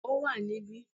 Ó wà níbí